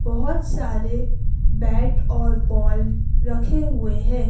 बहुत सारे बैट और बॉल रखे हुए हैं।